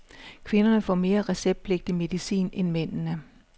Kvinderne får mere receptpligtig medicin end mændene.